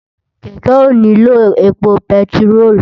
Kèkè óniló épó pètiró